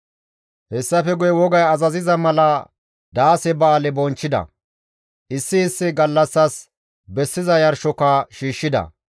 Hessafe guye wogay azaziza mala daase ba7aale bonchchida. Issi issi gallassas bessiza yarshoka shiishshida.